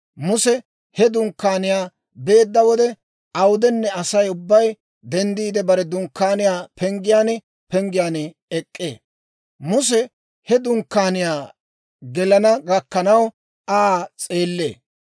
Muse he dunkkaaniyaa beedda wode, awudenne Asay ubbay denddiide, bare dunkkaaniyaa penggiyaan penggiyaan ek'k'ee; Muse he dunkkaaniyaa gelana gakkanaw Aa s'eellee.